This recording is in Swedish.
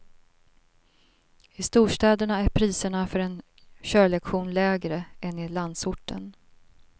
I storstäderna är priserna för en körlektion lägre än i landsorten.